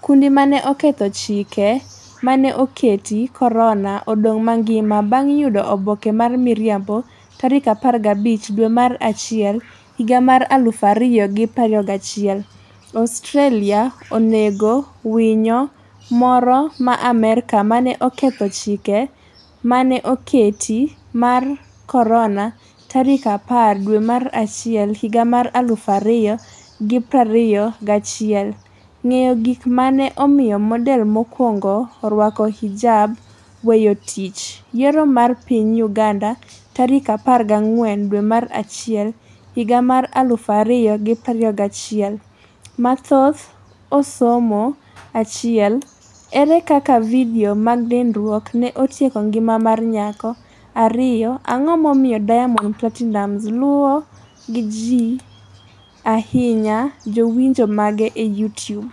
Kundi mane 'oketho chike mane oketi korona' odong' mangima bang' yudo oboke mar miriambo15 dwe mar achiel 2021 Australia onego winyo moro ma Amerka mane 'oketho chike mane oket mar korona'10 dwe mar achiel 2021 ng'eyo gik ma ne omiyo model mokwongo orwak hijab â€ ̃weyo tich hiyoâ€TM Yiero mar piny Uganda tarik 14 dwe mar achiel higa mar 2021 Mathoth osomo 1 Ere kaka vidio mag nindruok ne otieko ngima mar nyako 2 Ang'o momiyo Diamond Platinumz luwo gi ahinya jowinjo mage e Youtube?